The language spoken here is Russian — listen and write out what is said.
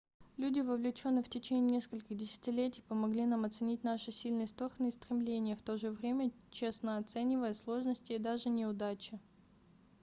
люди вовлеченные в течение нескольких десятилетий помогли нам оценить наши сильные стороны и стремления в то же время честно оценивая сложности и даже неудачи